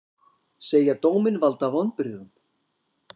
Segja dóminn valda vonbrigðum